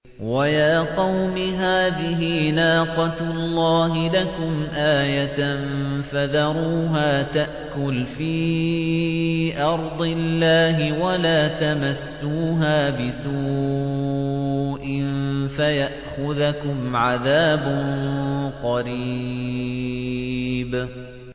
وَيَا قَوْمِ هَٰذِهِ نَاقَةُ اللَّهِ لَكُمْ آيَةً فَذَرُوهَا تَأْكُلْ فِي أَرْضِ اللَّهِ وَلَا تَمَسُّوهَا بِسُوءٍ فَيَأْخُذَكُمْ عَذَابٌ قَرِيبٌ